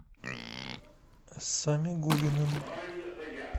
самигуллиным